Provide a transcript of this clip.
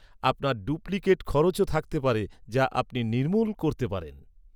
আপনার ডুপ্লিকেট খরচও থাকতে পারে যা আপনি নির্মূল করতে পারেন।